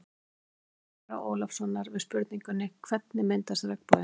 Í svari Ara Ólafssonar við spurningunni: Hvernig myndast regnboginn?